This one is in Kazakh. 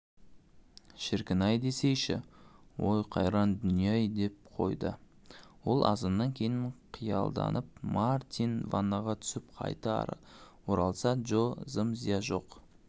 шіркін-ай десейші ой қайран дүние-ай деп қойды ол аздан кейін қиялданыпмартин ваннаға түсіп қайта оралса джо зым-зия жоқ